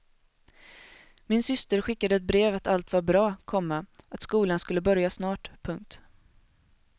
Min syster skickade ett brev att allt var bra, komma att skolan skulle börja snart. punkt